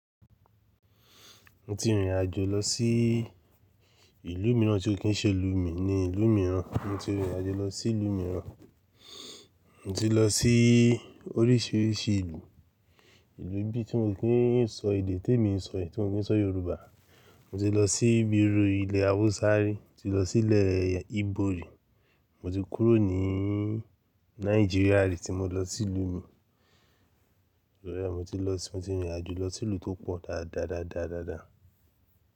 Mo ti rìnrìn àjò lọ sí ìlú mìíràn tí ò kí ń ṣe ìlú mi ni ìlú mìíràn. Mo ti rìnrìn àjò lọ sí ìlú mìíràn. Mo ti lọ sí oríṣiríṣi ìlú, ìlú bí i tí wọn kii sọ èdè tí èmi ń sọ i, tí wọn ni sọ Yorùbá. Mo ti lọ sí bíi iru ilẹ̀ Hausa rí, mo ti lọ sí ilẹ̀ Ibo rí, mo ti kúrò níì Nigeria rí tí mo lọ sí ìlú mi. To ri ẹ mo ti lọ sí, mo ti rìnrìn àjò lọ sí ìlú tó pọ̀ dáadáadáadáàdá.